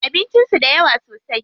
Abincin su da yawa sosai.